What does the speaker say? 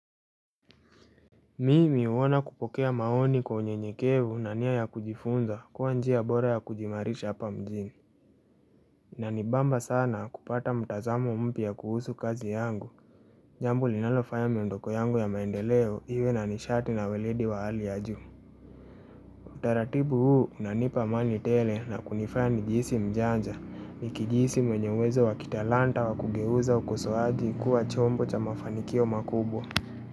Mimi huona kupokea maoni kwa unyenyekevu na nia ya kujifunza kuwa njia bora ya kujiimarisha hapa mjini Inanibamba sana kupata mtazamo mpya kuhusu kazi yangu Jambo linalofanya miondoko yangu ya maendeleo iwe na nishati na weledi wa hali ya juu Utaratibu huu unanipa amani tele na kunifaya nijihisi mjanja nikijihisi mwenye uwezo wa kitalanta wa kugeuza ukosoaji kuwa chombo cha mafanikio makubwa.